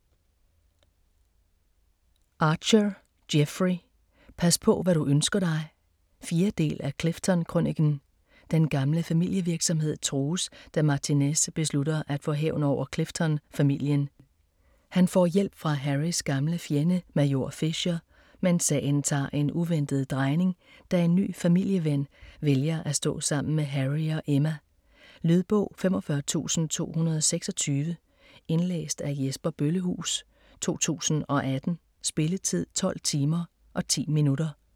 Archer, Jeffrey: Pas på hvad du ønsker dig 4. del af Clifton-krøniken. Den gamle familievirksomhed trues, da Martinez beslutter at få hævn over Clifton familien. Han får hjælp fra Harrys gamle fjende Major Fisher, men sagen tager en uventet drejning, da en ny familieven vælger at stå sammen med Harry og Emma. Lydbog 45226 Indlæst af Jesper Bøllehuus, 2018. Spilletid: 12 timer, 10 minutter.